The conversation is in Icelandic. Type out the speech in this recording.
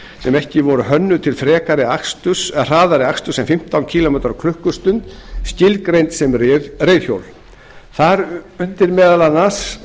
sem ekki voru hönnuð til hraðari aksturs en fimmtán kílómetra á klukkustund skilgreind sem reiðhjól þar undir falla meðal annars